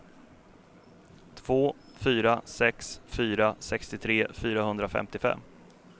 två fyra sex fyra sextiotre fyrahundrafemtiofem